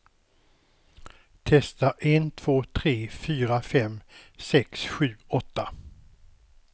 Testar en två tre fyra fem sex sju åtta.